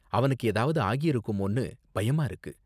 அவனுக்கு ஏதாவது ஆகிருக்குமோன்னு பயமா இருக்கு.